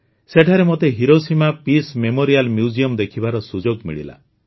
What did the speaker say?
ସେଠାରେ ମୋତେ peace memorial museum ଦେଖିବାର ସୁଯୋଗ ମିଳିଲା